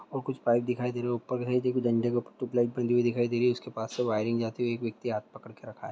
और कुछ पाइप दिखाई दे रही है ऊपर के साइड देखो डंडे के ऊपर ट्यूबलाइट बंधी दिखाई दे रही उसके पास से वयरिंग जाती हुई एक व्यक्ति हाथ पकड़ के रखा है।